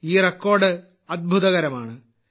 ഈ റെക്കോർഡ് അത്ഭുതകരമാണ്